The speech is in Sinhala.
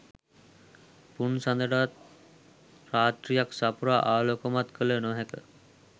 පුන්සඳටවත් රාත්‍රියක් සපුරා ආලෝකමත් කළ නොහැක